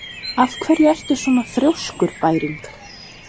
Af hverju ertu svona þrjóskur, Bæring?